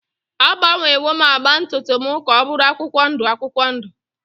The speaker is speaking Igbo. Agbanwewo m agba ntutu m ka ọ bụrụ akwụkwọ ndụ akwụkwọ ndụ.